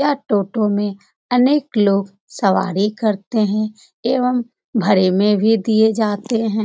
यह टोटो में अनेक लोग सवारी करते है एवं भाड़े में भी दिए जाते है।